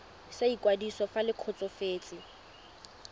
sa ikwadiso fa le kgotsofetse